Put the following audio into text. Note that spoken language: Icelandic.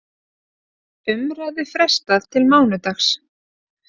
Umræðu frestað til mánudags